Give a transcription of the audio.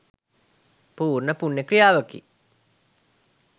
පූර්ණ පුණ්‍ය ක්‍රියාවකි.